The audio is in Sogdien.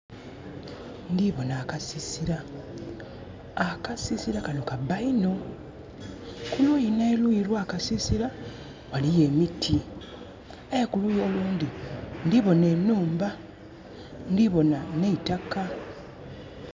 Ndhiboonha akasisira akasisira kanho kabba iinho kuluyi nhe luyi olwakasisira ghaliyo emiti aye kuluyi olundhi ndhiboonha enhumba ndhiboonha neitaka.